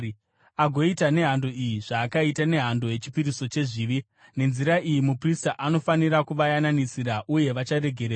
agoita nehando iyi zvaakaita nehando yechipiriso chezvivi. Nenzira iyi muprista anofanira kuvayananisira, uye vacharegererwa.